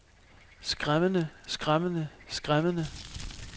skræmmende skræmmende skræmmende